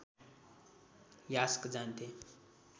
यास्क जान्थे